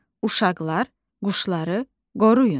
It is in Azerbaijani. Uşaqlar, quşları qoruyun.